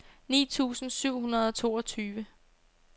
ni tusind syv hundrede og toogtyve